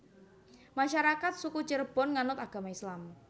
Masyarakat Suku Cirebon nganut agama Islam